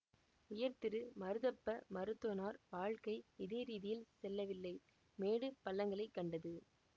உயர்திரு மருதப்ப மருத்துவனார் வாழ்க்கை இதே ரீதியில் செல்லவில்லை மேடு பள்ளங்களைக் கண்டது